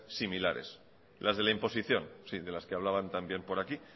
similares las de la imposición sí de las que hablaban también por aquí